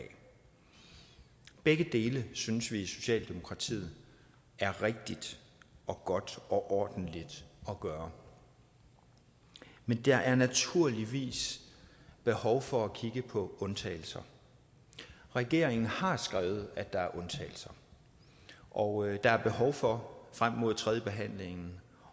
begge dele synes vi i socialdemokratiet er rigtigt og godt og ordentligt at gøre men der er naturligvis behov for at kigge på undtagelser regeringen har skrevet at der er undtagelser og der er behov for frem mod tredjebehandlingen